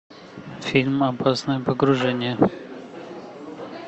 фильм опасное погружение